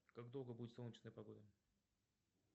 как долго будет солнечная погода